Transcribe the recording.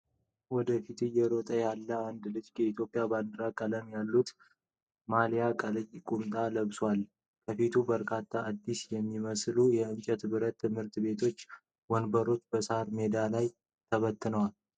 ወደ ፊት እየሮጠ ያለ አንድ ልጅ የኢትዮጵያ ባንዲራ ቀለሞች ያሉት ማሊያና ቀይ ቁምጣ ለብሷል። ከፊቱ በርካታ አዲስ የሚመስሉ የእንጨትና ብረት የትምህርት ቤት ወንበሮች በሳር ሜዳ ላይ ተበትነዋል።